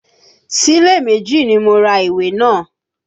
Sílẹ̀ méjì ni mo ra ìwé náà